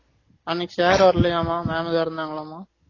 அன்னைக்கு sir வரலயாம mam தான் இருந்தாங்க லாமா